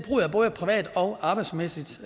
jeg både privat og arbejdsmæssigt